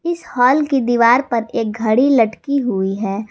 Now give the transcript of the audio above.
इस हाल की दीवार पर एक घड़ी लटकी हुई है।